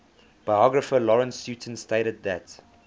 biographer lawrence sutin stated that